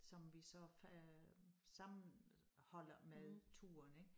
Som vi så øh sammenholder med turen ik